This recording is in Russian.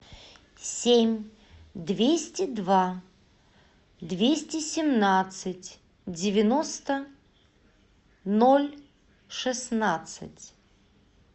семь двести два двести семнадцать девяносто ноль шестнадцать